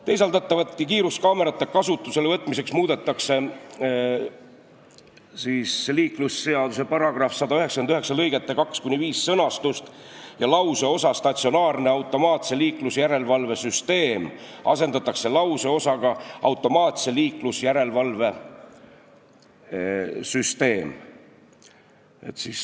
Teisaldatavate kiiruskaamerate kasutusele võtmiseks muudetakse liiklusseaduse § 199 lõigete 2–5 sõnastust ja lauseosa "statsionaarse automaatse liiklusjärelevalve süsteem" asendatakse lauseosaga "automaatse liiklusjärelevalve süsteem".